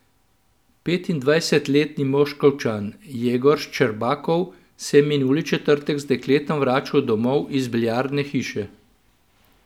Petindvajsetletni Moskovčan Jegor Ščerbakov se je minuli četrtek z dekletom vračal domov iz biljardne hiše.